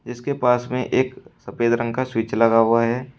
इसके पास में एक सफेद रंग का स्विच लगा हुआ है।